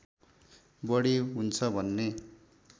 बढी हुन्छ भन्ने